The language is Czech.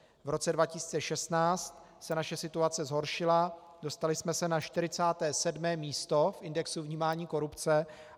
V roce 2016 se naše situace zhoršila, dostali jsme se na 47. místo v indexu vnímání korupce.